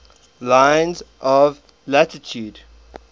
lines of latitude